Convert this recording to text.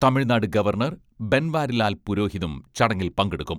Tamil Nadu governor Banwarilal പുരോഹിതും ചടങ്ങിൽ പങ്കെടുക്കും.